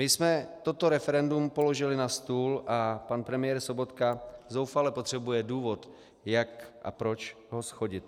My jsme toto referendum položili na stůl a pan premiér Sobotka zoufale potřebuje důvod, jak a proč ho shodit.